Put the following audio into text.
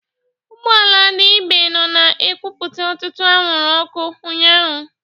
Ụgbọ ala ndị Ibe nọ na-ekupụ ọtụtụ anwụrụ ọkụ ụnyaahụ.